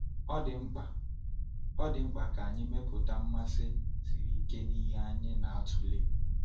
Ọ dị mkpa Ọ dị mkpa ka anyị mepụta mmasị siri ike n’ihe anyị na-atụle.